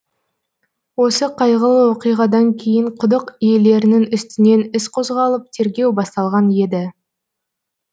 осы қайғылы оқиғадан кейін құдық иелерінің үстінен іс қозғалып тергеу басталған еді